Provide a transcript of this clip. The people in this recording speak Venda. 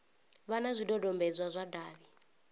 vha na zwidodombedzwa zwa davhi